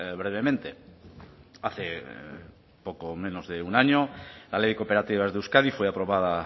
brevemente hace poco menos de un año la ley de cooperativas de euskadi fue aprobada